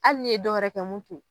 Hali ni ye dɔwɛrɛ kɛ mun to ye.